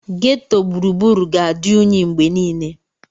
Ghetto gburugburu ga-adị unyi mgbe niile.